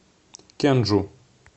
кенджу